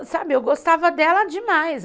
Ah, aí, sabe, eu gostava dela demais.